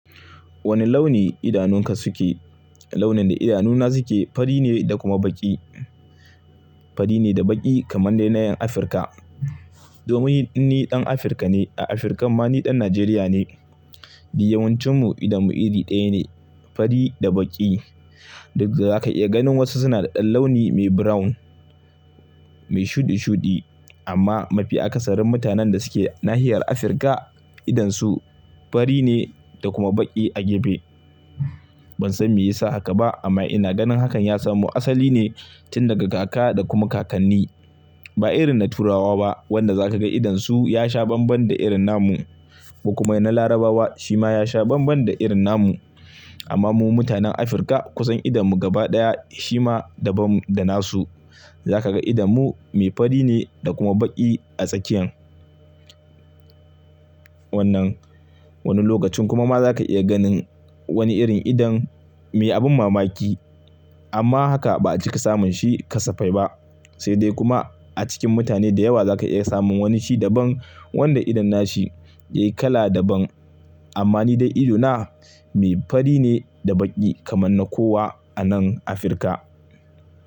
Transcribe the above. Wane launi idanunka suke? Launin da idanuna suke fari ne da kuma baƙi. Fari ne da baƙi kamar dai na 'yan Afirka. Domin ni ɗan Afirka ne. A Afirkan ma ni ɗan Najeriya ne. Duk yawancin, mu idanmu iri ɗaya ne. Fari da baƙi. Duk da zaka iya ganin wasu suna da ɗan launi mai brown, mai shuɗi-shuɗi amma mafi akasarin mutanen da suke nahiyar Afirka idonsu fari ne da kuma baƙi a gefe. Ban san me yasa haka ba amma ina ganin hakan ya samu asali ne tun daga kaka da kuma kakanni. Ba irin na Turawa ba, wanda za ka ga idonsu ya sha banban da irin na mu. Kokuma na Larabawa, shi ma ya sha bambam da irin na mu. Amma mu mutanen Afirka kusan idanmu gaba ɗaya shi ma daban da na su. Za ka ga idonmu mai fari ne da kuma baƙi a tsakiyan. Wannan wani lokacin kuma ma za ka iya ganin wani irin idon mai abin mamaki. Amma haka ba a cika samun shi kasafai ba. Sai dai kuma, a cikin mutane da yawa za ka iya samun wani shi daban wanda idon nashi ya yi kala daban. Amma ni dai idona mai fari ne da baƙi kamar na kowa a nan Afirka.